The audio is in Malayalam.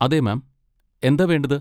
അതെ, മാം, എന്താ വേണ്ടത്?